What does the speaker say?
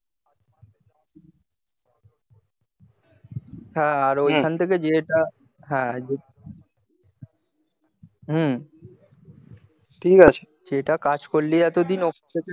হ্যাঁ ওই খান থেকে যে তা হ্যাঁ হুম ঠিক আছে যে তা কাজ করলি এত দিন